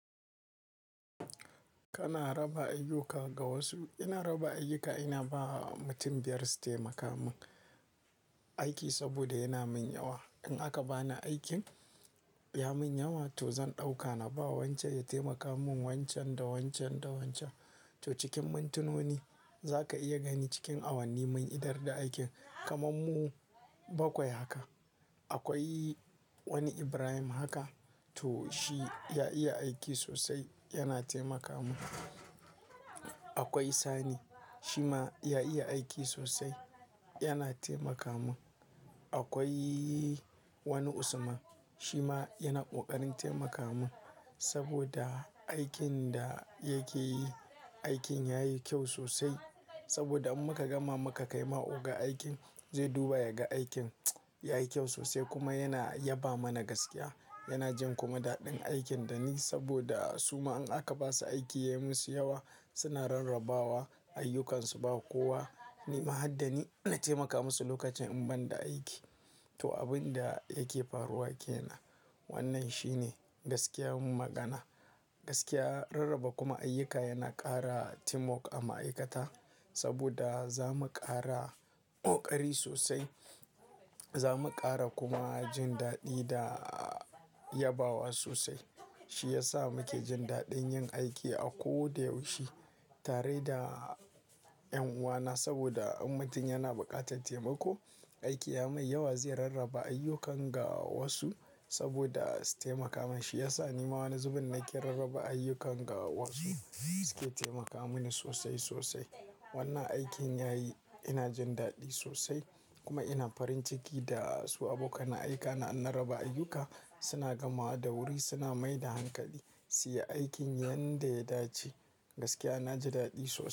Kana raba ayyukanka da wasu. Ina raba ayyuka, ina ba mutum biyar su taimaka min aiki saboda yana min yawa. In aka ba ni aikin ya min yawa to zan ɗauka na ba wancan ya taimaka min wancan da wancan da wancan. To cikin mintunoni za ka iya gani cikin awanni mun idar da aikin kaman mu bakwai haka. Akwai wani Ibrahim haka to shi ya iya aiki sosai yana taimaka min. Akwai Sani shi ma ya iya aiki sosai yana taimaka min. Akwai wani Usman shi ma yana ƙoƙarin taimaka min saboda aikin da yake yi, aikin ya yi kyau sosai saboda in muka gama muka kai ma oga aikin zai duba ya ga aikin ya yi kyau sosai kuma yana yaba mana gaskiya. Yana jin kuma daɗin aikin da ne saboda su ma in aka basu aiki ya yi musu yawa suna rarrabawa ayyukansu ba kowa. Ni ma har da ni na taimaka musu lokacin in ban da aiki. To abin da yake faruwa ke nan, wannan shi ne gaskiya mun magana. Gaskiya, rarraba kuma ayyuka yana ƙara timwok a ma'aikata saboda za mu ƙara ƙoƙari sosai. Za mu ƙara kuma jin daɗi da yabawa sosai. Shi yasa muke jin daɗin yin aiki a ko da yaushe tare da yan uwana saboda in mutum yana buƙatar taimako, aiki ya mai yawa zai rarraba ayyukan ga wasu saboda su taimaka masa. Shi yasa ni ma wani zubin nake rarraba ayyuka ga wasu suke taimaka mini sosai, sosai. Wannan aikin ya yi ina jin daɗi sosai kuma ina farin ciki da su abokan aiki na an rarraba ayyuka suna gama da wuri suna mai da hankali su yi aikin yanda ya dace. Gaskiya ina jin daɗi sosai.